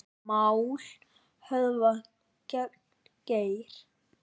Mál höfðað gegn Geir